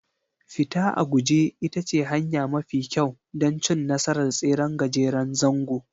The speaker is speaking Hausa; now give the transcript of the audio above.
Fita a guje ita ce hanya mafi kyau don cin nasarar tseren gajeren zango